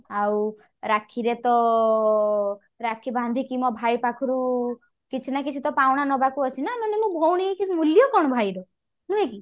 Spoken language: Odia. ଆଉ ରାକ୍ଷୀ ରେ ତ ରାକ୍ଷୀ ବାନ୍ଧିକି ମୋ ଭାଇ ପାଖରୁ କିଛି ନା କିଛି ତ ପାଉଣା ନବାକୁ ଅଛି ନା ମାନେ ମୁଁ ଭଉଣୀ ହେଇକି ମୂଲ୍ୟ କଣ ଭାଇ ର ନୁହେଁ କି